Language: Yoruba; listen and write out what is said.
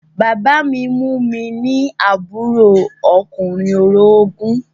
Bàbá mi mú mi ní àbúrò ọkùnrin orogún